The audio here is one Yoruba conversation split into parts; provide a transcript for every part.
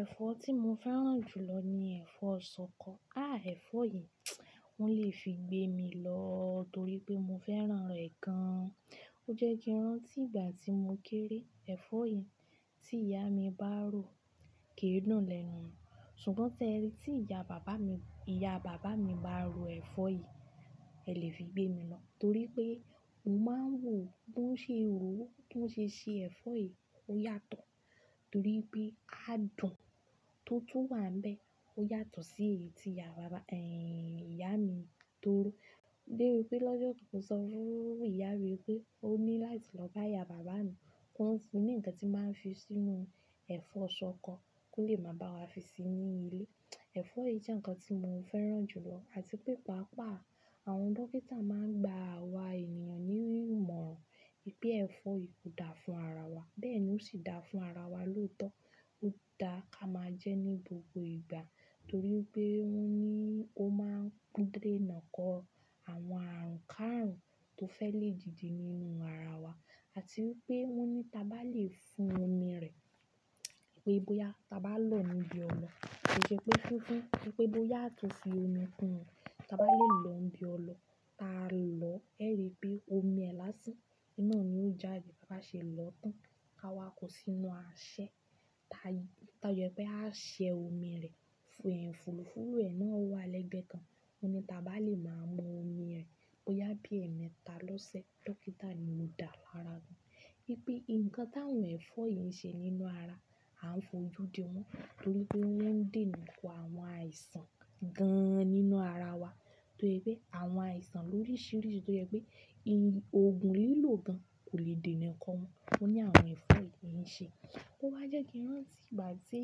Ẹ̀fọ́ tí mo fẹ́ràn jù lọ ni ẹ̀fọ́ ṣọkọ. Ah! Ẹ̀fọ́ yìí, wón lè fi gbé mi lọ torí pé mo fẹ́ràn rẹ̀ gan-an. Ó jẹ́ kí rántí ìgbà tí mo kéré, ẹ̀fọ́ yìí tí ìyá mi bá rò, kì í dùn lẹ́nu. Ṣùgbọ́n tẹrí, tí ìyá bàbá mi, ìyá bàbá mi bá ro ẹ̀fọ́ yìí, ẹ lè fi gbé mi lọ torí pé ó máa ń wò ó. Bó ṣe rò ó, bó ṣe se ẹ̀fọ́ yìí, ó yàtọ̀ torí pé adùn tó tú wà níbẹ̀ ó yàtọ̀ sí èyí tí ìyá bàbá, ẹ́yin, ìyá mi tó rò. Dé bi pé lọ́jọ́ kan, mo sọ fún ìyá rẹ̀ pé ó ní láti lọ bá ìyá bàbá mi kọ́n fún ní ǹkan tí a máa ń fi sínú ẹ̀fọ́ ṣọkọ kó lè máa bá wa fi sí i ní ilé. Ẹ̀fọ́ yìí jẹ́ ǹkan tí mo fẹ́ràn jù lọ àti pé pàápàá àwọn dókítà máa ń gba àwa ènìyàn ní ìmọ̀ràn wipé ẹ̀fọ́ yìí ò dáa fún ara wa, bẹ́ẹ̀ ni ó sì dáa fún ara wa lóòótọ́. Ó dáa ká máa jẹ ní gbogbo ìgbà torí wipé wọ́n ní ó máa ń dúró nàkọ̀ àwọn àrùnkárùn tó fẹ́ lé dìde nínú ara wa àti wipé wọ́n ní tí a bá lè fún omi rẹ̀ pé bóyá tí a bá lọ̀ọ́ níbi ọlọ, ó ṣe pé fúnfún, pé bóyá tó fi omi kún rẹ̀, tí a bá lè lọ̀ọ́ níbi ọlọ, ta lọ̀ọ́, ẹ rí i pé omi ẹ lásán, iná ò ní ó jáde. Bá ba ṣe lọ́tàn, ká wá kọ sí inú àṣẹ, ta yẹ pé àṣẹ omi rẹ̀ fún ẹ fùlùfúlù, iná ó wà lẹ́gbẹ̀ẹ́ kan. Wọ́n ní tí a bá lè máa mu omi rẹ̀ bóyá bí ẹ̀ẹ̀mẹta lọ́sẹ̀, dókítà ni ó dáa lára wa. Wípé ǹkan t'áwọn ẹ̀fọ́ yìí ń ṣe nínú ara, a ń fo ojú dé wọn torí pé wọ́n ń dènàkọ àwọn àìsàn gan-an nínú ara wa tó se pẹ́ àwọn àìsàn loríṣiríṣi tó yẹ pé, i-- òògùn lílò gan kò lè dènàkọ wọn. Wọ́n ní àwọn ẹ̀fọ́ yìí ń ṣe. Ó wá jẹ́ kí rántí ìgbà tí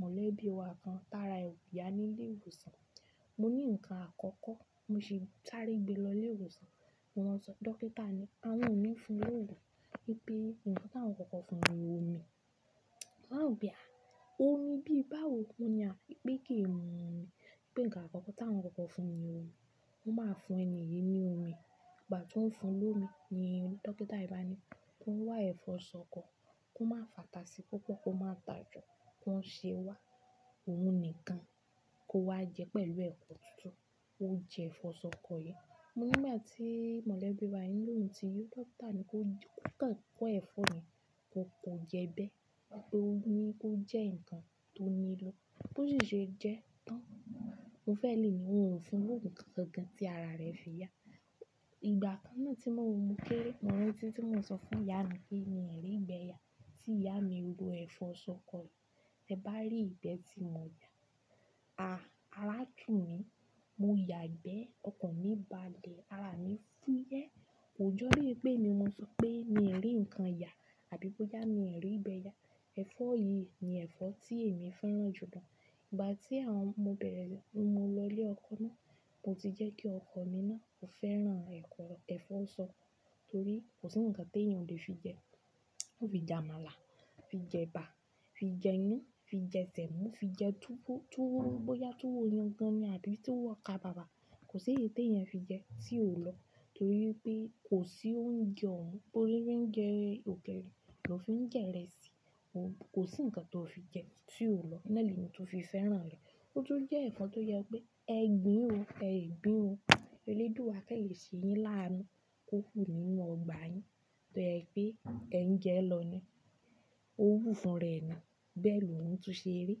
mọ̀lẹ́bí wa kan t'ára ò ya nílé ìwòsàn. Mo ní ǹkan àkọ́kọ́ mo ṣe sárí gbé lọ ilé ìwòsàn, mo lọ́ n sọ, "Dókítà ni, àwọn òní fún lóògùn." Wípé ǹkan táwọn kọ́kọ́ fún ni omi. Máa gbà omi bíi báwo ni a-- wípé kì í mu omi, wípé ǹkan àkọ́kọ́ táwọn kọ́kọ́ fún ni omi. Mo máa ń fún ẹni yìí ní omi. Ìgbà tó ń fún lómi ni dókítà yen bá ni kó wá ẹ̀fọ́ ṣọkọ, kó máa fàtà sí i púpọ̀, kó máa tà ju, kó ṣe wá òhun nìkan kó wá jẹ pẹ̀lú ẹ̀kọ́ tutu. Ó jẹ ẹ̀fọ́ ṣọkọ yẹn. Mo ní ìgbà tí mọ̀lẹ́bí wa yeń lò ó tí yo dókítà ni kó joko, kó kọ́ ẹ̀fọ́ yẹn kó kọ jẹ bẹ́ẹ̀ torí pé ó ní kó jẹ́ ǹkan tó nílò bó ṣì ṣe jẹ tán. Mo fẹ́ lè ní òun ò fún lóògùn kan kan gan tí ara rẹ̀ fi yà. Ìgbà kan náà ti mo ri pe ti mo rántí pe mi o ri gbe ya. Tí ìyá mi ro ẹ̀fọ́ ṣọkọ yìí, tẹ bá rí ìgbẹ́ tí mo yà, ah! Ará tù mí, mo yà gbẹ́, ọkàn mi bá lẹ̀, ara mi fúyẹ́. Kojo bí i pé emi mo sọ pé mi rí ǹkan yà àbí bóyá mi rí ìgbẹ́ yà. Ẹ̀fọ́ yìí ni ẹ̀fọ́ tí èmi fẹ́ràn jù lọ. Ìgbà tí àwọn-- mo bẹ̀rẹ̀ ló mu lọ ilé ọkọ mi, mo ti jẹ́ kí ọkọ mi náà kò fẹ́ràn ẹ̀fọ́, ẹ̀fọ́ ṣọkọ torí kò sí ǹkan tó èèyàn lè fi jẹ. Ó fi jẹ àmàlà, fi jẹ ẹ̀bà, fi jẹ iyan, fi jẹ sẹ̀mọ́, fi jẹ túwó, túwó bóyá túwó yankan ni àbí tuwọ okábàbà, kò sí èyí tó èèyàn fi jẹ tí ò lọ torí pé kò sí oúnjẹ ọ̀ún. Bó ṣe fi n jẹ òkèlè ló fi ń jẹ ìrẹsì. Kò sí ǹkan tó fi jẹ tí ò lọ. Nná ni èmi tó fi fẹ́ràn rẹ̀. Ó tún jẹ́ ẹ̀fọ́ tó yẹ pé ẹ gbìn ó, ẹ gbìn ó. Ẹlẹ́dùa kan lè ṣe yín láánú kó hù nínú ọgbà yín tó jẹ pé ẹ ń jẹ lọ́ ni. Ó wù fún rẹ̀ nii. Bẹ́ẹ̀ lòún tó ṣe rí.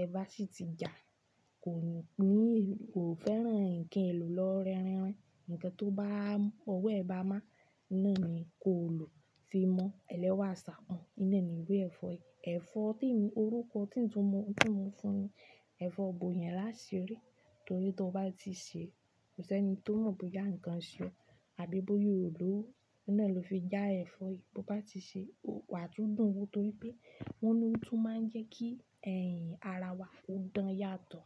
Ẹ bá sì ti ja a, kò ní, kò fẹ́ràn ǹkan èlò lọ rẹ́rìnrin. Ǹkan tó bá, ọwọ́ ẹ bá má a iná ni kò lò tí í mọ́. Ẹlẹ́wà sá pọ̀n. Nna ni iru ẹ̀fọ́ yi. Oruko to mo tun ma fún ni ẹ̀fọ́ boyanlasiri, torí to ba ti se ko se ni to mo boya nkan se e àbí boya o lowo nna lo fi ja ẹ̀fọ́ yi. To bá ti sè é, ó wà tú dùn ún torí pé wọ́n ni ó tún máa ń jẹ́ kí ẹ̀hìn ara wa ó dùn yàtọ̀.